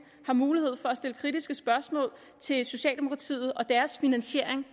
har mulighed for at stille kritiske spørgsmål til socialdemokratiet og deres finansiering